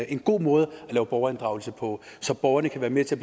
en god måde at lave borgerinddragelse på så borgerne kan være med til